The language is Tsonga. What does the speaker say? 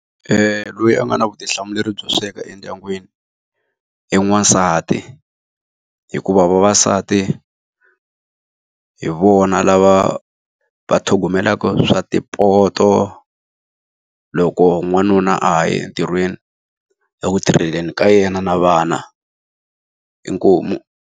Loyi a nga na vutihlamuleri byo sweka endyangwini, i n'wansati. Hikuva vavasati, hi vona lava va tlhogomelaka swa mapoto loko n'wanuna a ha ye entirhweni eku tirheleni ka yena na vana. Inkomu.